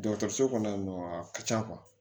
Dɔgɔtɔrɔso kɔnɔ yan nɔ a ka ca